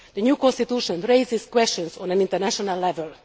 The new constitution raises questions on an international level.